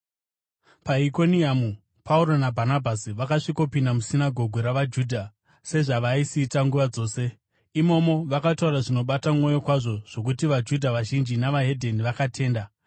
PaIkoniamu Pauro naBhanabhasi vakasvikopinda musinagoge ravaJudha sezvavaisiita nguva dzose. Imomo vakataura zvinobata mwoyo kwazvo zvokuti vaJudha vazhinji neveDzimwe Ndudzi vakatenda.